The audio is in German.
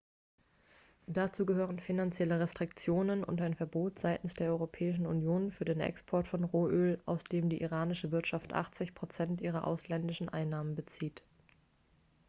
dazu gehören finanzielle restriktionen und ein verbot seitens der europäischen union für den export von rohöl aus dem die iranische wirtschaft 80 % ihrer ausländischen einnahmen bezieht.x